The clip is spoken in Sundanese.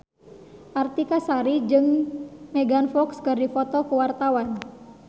Artika Sari Devi jeung Megan Fox keur dipoto ku wartawan